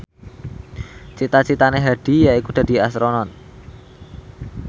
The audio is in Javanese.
cita citane Hadi yaiku dadi Astronot